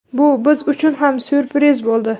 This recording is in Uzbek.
Bu biz uchun ham syurpriz bo‘ldi.